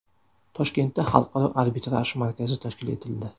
Toshkentda xalqaro arbitraj markazi tashkil etildi.